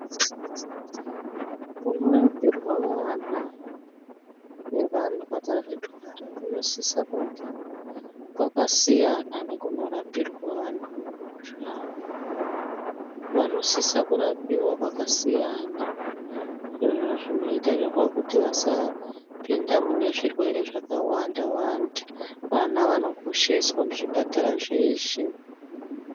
Kunorapirwa ana nevantu akadzitwara kunosise kunge kwakasiyana nekunorapirwa vantuwo havo vanosisa kurapirwa kwakasiyana izvozvo zvinoitirwa kuti vasipinda mune zvirwere zvakawanda wanda vana vanokosheswa muzvipatara zveshe.